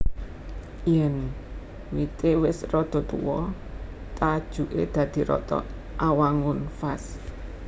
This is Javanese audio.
Yèn wité wis rada tuwa tajuké dadi rata awangun vas